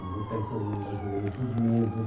Os hotéis são mais ou menos os mesmos.